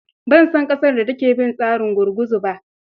Ban san ƙasar da take bin tsarin gurguzu ba.